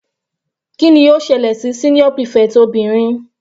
Kíni ó ṣẹlẹ̀ sí senior prefect obìnrin?